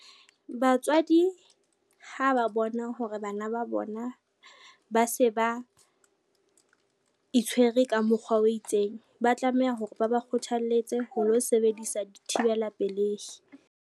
Batswadi ha ba bona hore bana ba bona ba se ba itshwere ka mokgwa o itseng, ba tlameha hore ba ba kgothaletse ho lo sebedisa dithibela pelehi.